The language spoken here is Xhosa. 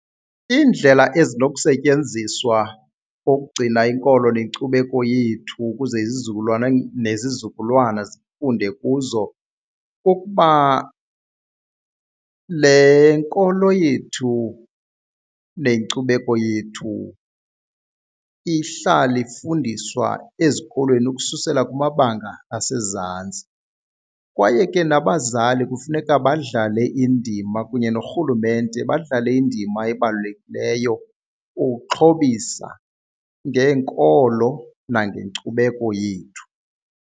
Iindlela ezinokusetyenziswa ukugcina inkolo nenkcubeko yethu ukuze izizukulwana nezizukulwana zifunde kuzo kukuba le nkolo yethu nenkcubeko yethu ihlale ifundiswa ezikolweni ukususela kumabanga asezantsi. Kwaye ke nabazali kufuneka badlale indima kunye norhulumente badlale indima ebalulekileyo ukuxhobisa ngeenkolo nangenkcubeko yethu.